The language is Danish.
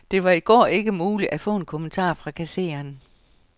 Det var i går ikke muligt at få en kommentar fra kassereren.